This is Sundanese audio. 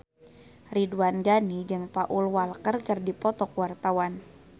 Ridwan Ghani jeung Paul Walker keur dipoto ku wartawan